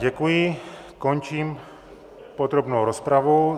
Děkuji, končím podrobnou rozpravu.